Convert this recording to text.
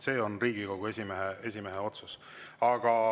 See on Riigikogu esimehe otsus.